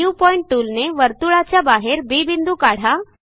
new point टूलने वर्तुळाच्या बाहेर बी बिंदू काढा